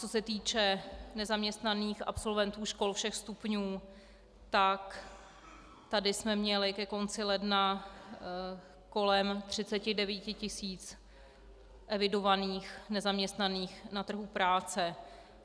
Co se týče nezaměstnaných absolventů škol všech stupňů, tak tady jsme měli ke konci ledna kolem 39 tisíc evidovaných nezaměstnaných na trhu práce.